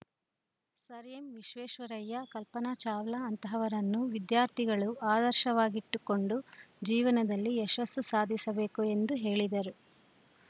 sir M Visvesvaraya Kalpana Chawla ಅಂತಹವರನ್ನು ವಿದ್ಯಾರ್ಥಿಗಳು ಆದರ್ಶವಾಗಿಟ್ಟುಕೊಂಡು ಜೀವನದಲ್ಲಿ ಯಶಸ್ಸು ಸಾಧಿಸಬೇಕು ಎಂದು ಹೇಳಿದರು